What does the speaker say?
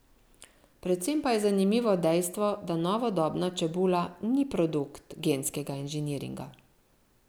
Predvsem pa je zanimivo dejstvo, da novodobna čebula ni produkt genskega inženiringa.